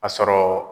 A sɔrɔ